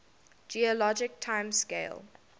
geologic time scale